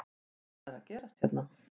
Allt er að gerast hérna!!